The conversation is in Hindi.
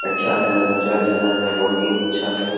अच्छा है मजार जगह है बहुत ही अच्छा है।